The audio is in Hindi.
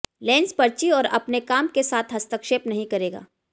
लेंस पर्ची और अपने काम के साथ हस्तक्षेप नहीं करेगा